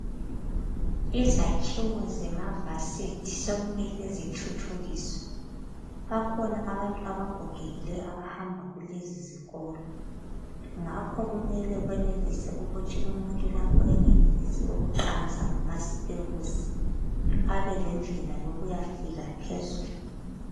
Izakhiwo zemavasithi sokumele zithuthukiswe .Sokulabantu abagogekileyo abahamba kulezi zitolo. Ngakho kumele kwenelise ukuthi umuntu lapho engenelisi ukuqansa ngamastebusi ,abelendlela yokuyafika phezulu.